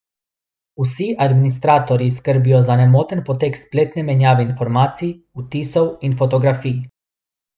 Vsi administratorji skrbijo za nemoten potek spletne menjave informacij, vtisov in fotografij.